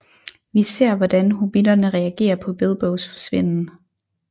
Vi ser hvordan hobbitterne reagerer på Bilbos forsvinden